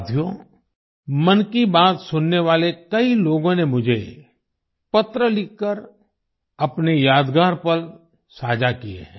साथियो मन की बात सुनने वाले कई लोगों ने मुझे पत्र लिखकर अपने यादगार पल साझा किए हैं